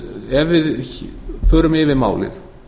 ef við förum yfir málið